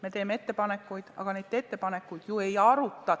Me teeme ettepanekuid, aga neid ju ei arutatagi.